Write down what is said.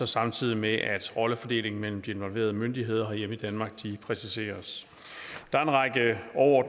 samtidig med at rollefordelingen mellem de involverede myndigheder herhjemme præciseres